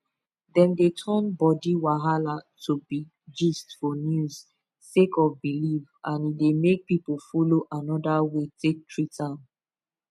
dem dey turn body wahala to big gist for news sake of belief and e dey make people follow another way take treat am